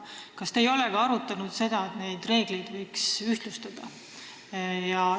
Kas te ei ole arutanud ka seda, et neid reegleid võiks ühtlustada?